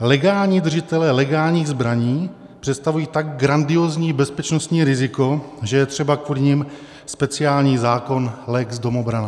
legální držitelé legálních zbraní, představují tak grandiózní bezpečnostní riziko, že je třeba kvůli nim speciální zákon lex domobrana.